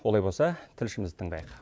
олай болса тілшімізді тыңдайық